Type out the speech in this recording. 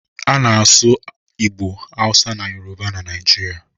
A na-asụ Igbo, Hausa na Yoruba na Naijiria.